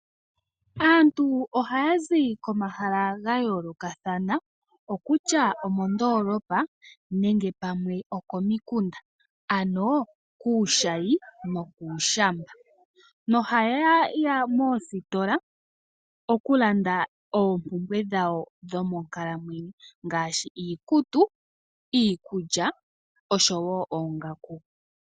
Aantu ohaya zi komahala gayoolokathana okutya omondoolopa nenge pamwe okomikunda, ano kuushayi nokuushamba noha ye ya moositola oku landa oompumbwe dhawo dho monkalamwenyo ngaashi iikutu, iikulya nosho woo oongaku.